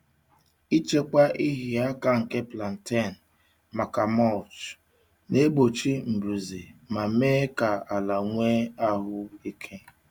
Ichekwa ịhịa aka nke plantain maka mulch na-egbochi mbuze ma mee ka ala nwee ahụ ike.